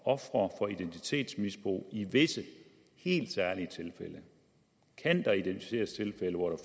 ofre for identitetsmisbrug i visse helt særlige tilfælde kan der identificeres tilfælde hvor